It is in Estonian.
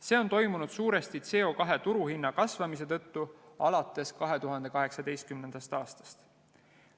See on toimunud suuresti CO2 turuhinna kasvamise tõttu alates 2018. aastast.